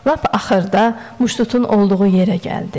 Lap axırda muştutun olduğu yerə gəldi.